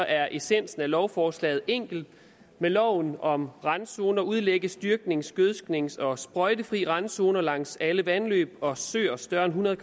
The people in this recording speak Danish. er essensen af lovforslaget enkel med loven om randzoner udlægges dyrknings gødsknings og sprøjtefrie randzoner langs alle vandløb og søer større end hundrede